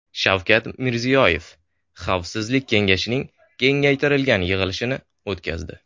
Shavkat Mirziyoyev Xavfsizlik kengashining kengaytirilgan yig‘ilishini o‘tkazdi.